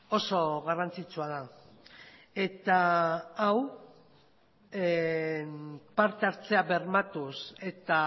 oso garrantzitsua da eta hau partehartzea bermatuz eta